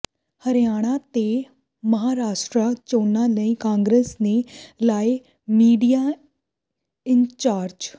ਹਰਿਆਣਾ ਤੇ ਮਹਾਰਾਸ਼ਟਰਾ ਚੋਣਾਂ ਲਈ ਕਾਂਗਰਸ ਨੇ ਲਾਏ ਮੀਡੀਆ ਇੰਚਾਰਜ